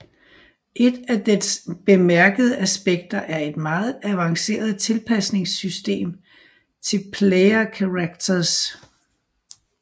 Et af dets bemærkede aspekter er et meget avanceret tilpasningssystem til player characters